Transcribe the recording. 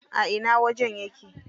A ina wajen yake?